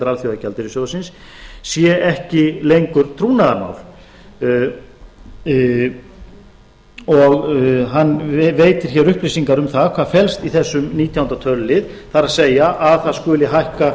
alþjóðagjaldeyrissjóðsins sé ekki lengur trúnaðarmál og hann veiti hér upplýsingar um það hvað felst í þessum nítjánda tölulið það er að það skuli hækka